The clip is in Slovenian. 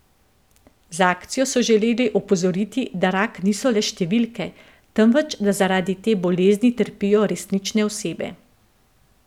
Z akcijo so želeli opozoriti, da rak niso le številke, temveč da zaradi te bolezni trpijo resnične osebe.